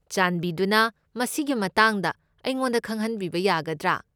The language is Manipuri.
ꯆꯥꯟꯕꯤꯗꯨꯅ ꯃꯁꯤꯒꯤ ꯃꯇꯥꯡꯗ ꯑꯩꯉꯣꯟꯗ ꯈꯪꯍꯟꯕꯤꯕ ꯌꯥꯒꯗ꯭ꯔꯥ?